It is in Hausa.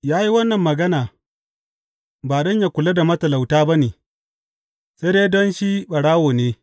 Ya yi wannan magana ba don ya kula da matalauta ba ne, sai dai don shi ɓarawo ne.